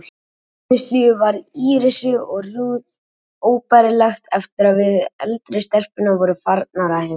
Heimilislífið varð Írisi og Ruth óbærilegt eftir að við, eldri stelpurnar, vorum farnar að heiman.